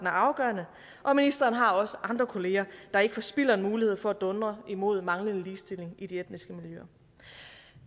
er afgørende og ministeren har også andre kollegaer der ikke forspilder en mulighed for at dundre imod manglende ligestilling i de etniske miljøer